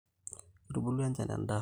Kitubulu enchan endaa